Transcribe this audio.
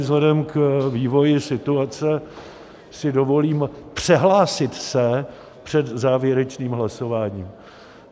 Vzhledem k vývoji situace si dovolím přehlásit se před závěrečným hlasováním.